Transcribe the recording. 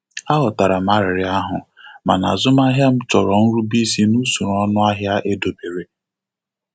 Aghọtara m arịrịọ ahụ, mana azụmahịa m chọrọ nrube isi n'usọrọ ọnụahịa edobere.